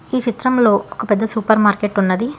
ఈ చిత్రంలో ఒక పెద్ద సూపర్ మార్కెట్ ఉన్నది.